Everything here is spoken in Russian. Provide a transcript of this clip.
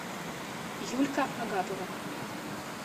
юлька агапова